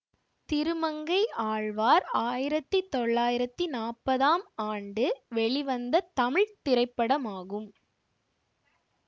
திருமங்கை ஆழ்வார் ஆயிரத்தி தொள்ளாயிரத்தி நாற்பதாம் ஆண்டு வெளிவந்த தமிழ் திரைப்படமாகும்